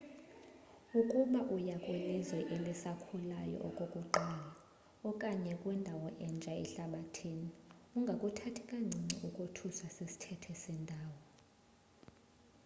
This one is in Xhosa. ukuba uya kwilizwe elisakhulayo okokuqala okanye kwindawo entsha ehlabathini ungakuthathi kancinci ukothuswa sisthethe sendawo